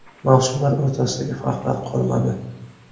Mavsumlar o‘rtasidagi farqlar qolmadi.